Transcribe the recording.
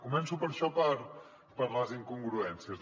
començo per això per les incongruències